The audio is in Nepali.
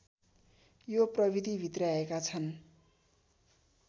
यो प्रविधि भित्र्याएका छन्